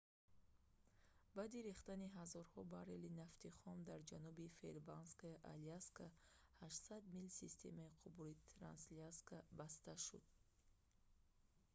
баъди рехтани ҳазорҳо баррели нафти хом дар ҷануби фэрбанксаи аляска 800 мил системаи қубури трансаляска баста шуд